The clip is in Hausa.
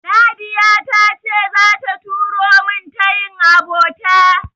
Nadiya ta ce zata turo min tayin abota.